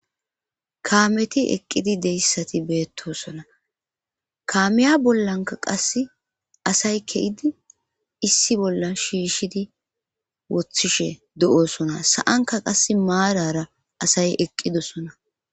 kaameti eqqidi deyssati beettosona kaamiya bollanka qase asay ke7idi issi bolla shiishidi woththishe do7osona sa7anka qasse maarara asay eqqidosona